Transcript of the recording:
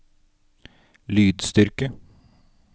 lydstyrke